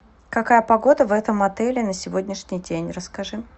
какая погода в этом отеле на сегодняшний день расскажи